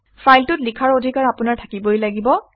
ফাইলটোত লিখাৰ অধিকাৰ আপোনাৰ থাকিবই লাগিব